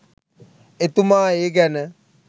එතුමා ඒ ගැන